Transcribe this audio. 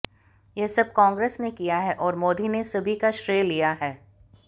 यह सब कांग्रेस ने किया है और मोदी ने सभी का श्रेय लिया है